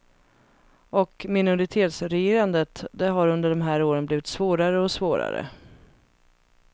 Och minoritetsregerandet, det har under de här åren blivit svårare och svårare.